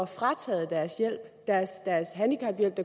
frataget deres handicaphjælp